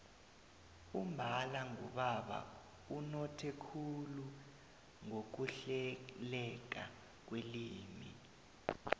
umbala ngubaba unothe khulu ngokuhleleka kwelimi